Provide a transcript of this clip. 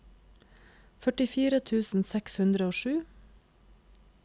førtifire tusen seks hundre og sju